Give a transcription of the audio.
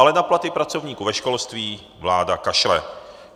Ale na platy pracovníků ve školství vláda kašle.